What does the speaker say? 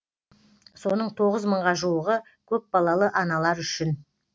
соның тоғыз мыңға жуығы көпбалалы аналар үшін